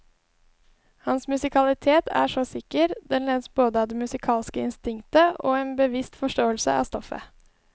Hans musikalitet er så sikker, den ledes både av det musikalske instinktet og en bevisst forståelse av stoffet.